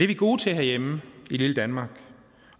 vi gode til herhjemme i lille danmark